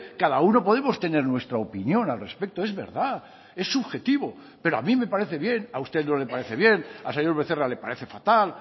cada uno podemos tener nuestra opinión al respecto es verdad es subjetivo pero a mí me parece bien a usted no le parece bien al señor becerra le parece fatal